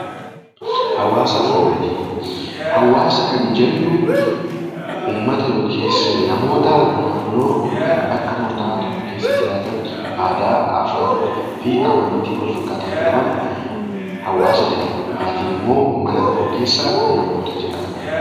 Hawaasa kan jennu uummata yookiin maatii namoota bakka murtaa'aa keessa jiraatan aadaa, afaan, amantii wal fakkaataa kan qaban hawaasa jedhamu. Maatiin immoo mana tokko keessa namoota jiraatanidha